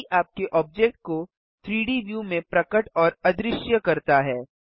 एये आपके ऑब्जेक्ट को 3डी व्यू में प्रकट और अदृश्य करता है